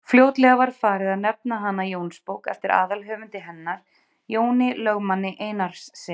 Fljótlega var farið að nefna hana Jónsbók eftir aðalhöfundi hennar, Jóni lögmanni Einarssyni.